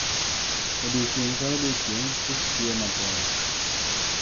Odiechieng' ka odiechieng', kich tiyo matek.